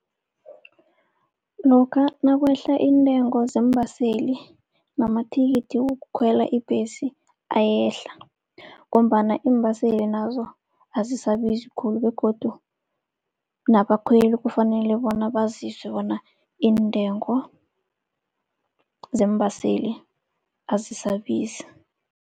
Lokha nakwehla iintengo zeembaseli namathikithi wokukhwela ibhesi ayehla, ngombana iimbaseli nazo azisabizi khulu begodu nabakhweli kufanele bona bazizwe bona iintengo zeembaseli azisabizi.